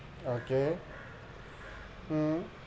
Okay হুম